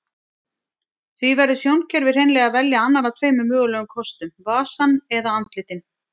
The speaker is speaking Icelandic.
Því verður sjónkerfið hreinlega að velja annan af tveimur mögulegum kostum, vasann eða andlitin.